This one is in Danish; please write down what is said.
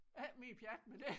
Ikke mere pjat med det